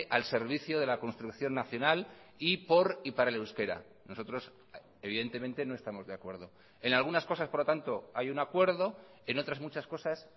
al servicio de la construcción nacional y por y para el euskera nosotros evidentemente no estamos de acuerdo en algunas cosas por lo tanto hay un acuerdo en otras muchas cosas